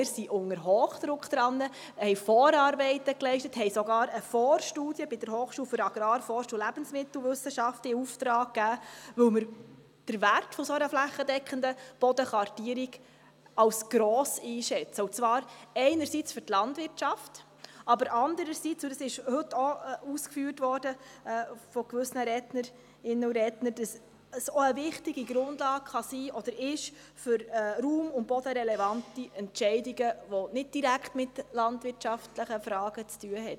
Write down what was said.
Wir sind unter Hochdruck daran, wir haben Vorarbeiten geleistet und haben sogar eine Vorstudie bei der Hochschule für Agrar-, Forst- und Lebensmittelwissenschaften (HAFL) in Auftrag gegeben, weil wir den Wert einer flächendeckenden Bodenkartierung als gross einschätzen, zum einen für die Landwirtschaft und zum anderen – das wurde heute auch von verschiedenen Rednerinnen und Rednern ausgeführt – als wichtige Grundlage für raum- und bodenrelevante Entscheidungen, welche nicht direkt mit landwirtschaftlichen Fragen zu tun haben.